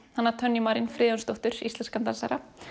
hana Tönju Marín Friðjónsdóttur íslenskan dansara